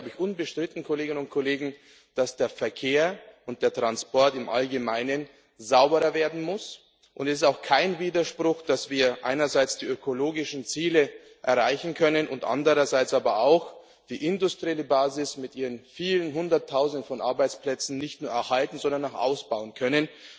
Es ist wohl unbestritten, dass der Verkehr und der Transport im Allgemeinen sauberer werden muss, und es ist auch kein Widerspruch, dass wir einerseits die ökologischen Ziele erreichen können, andererseits aber auch die industrielle Basis mit ihren vielen Hunderttausenden von Arbeitsplätzen nicht nur erhalten, sondern auch ausbauen können.